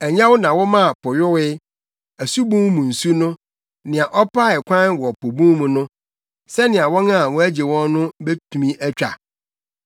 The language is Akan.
Ɛnyɛ wo na womaa po yowee, asubun mu nsu no, nea ɔpaee kwan wɔ po bun mu no sɛnea wɔn a wɔagye wɔn no betumi atwa?